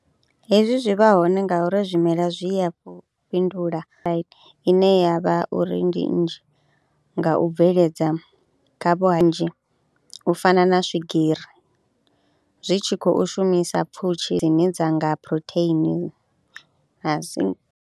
Hezwi zwi vha hone ngauri zwimela zwi ya fhindula ine ya vha uri ndi nnzhi nga u bveledza kha vhanzhi u fana na swigiri, zwi tshi kho shumisa pfhushi dzine dza nga phurotheini ha si .